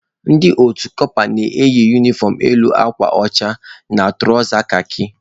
Ndị utu kọpa na-eyi unifọm elu akwa ọcha na tụrawza kakị.